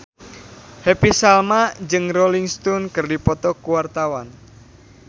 Happy Salma jeung Rolling Stone keur dipoto ku wartawan